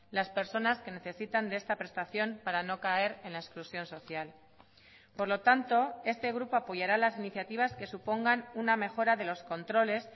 las personas que necesitan de esta prestación para no caer en la exclusión social por lo tanto este grupo apoyará las iniciativas que supongan una mejora de los controles